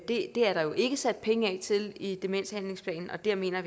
det er der jo ikke sat penge af til i demenshandlingsplanen og der mener